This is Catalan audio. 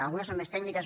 algunes són més tècniques